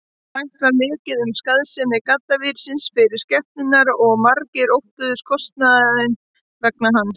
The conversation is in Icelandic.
Rætt var mikið um skaðsemi gaddavírsins fyrir skepnurnar og margir óttuðust kostnaðinn vegna hans.